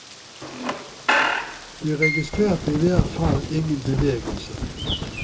Vi registrerte i hvert fall ingen bevegelse.